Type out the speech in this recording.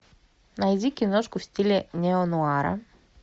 найди киношку в стиле нео нуара